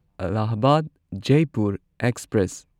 Allahabad Jaipur express